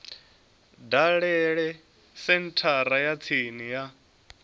dalele senthara ya tsini ya